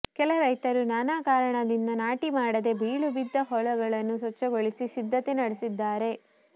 ಕೆಲ ರೈತರು ನಾನಾ ಕಾರಣದಿಂದ ನಾಟಿಮಾಡದೇ ಬೀಳುಬಿದ್ದ ಹೊಲಗಳನ್ನು ಸ್ವಚ್ಛಗೊಳಿಸಿ ಸಿದ್ಧತೆ ನಡೆಸಿದ್ದಾರೆ